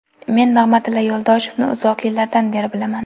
Men Nig‘matilla Yo‘ldoshevni uzoq yillardan beri bilaman.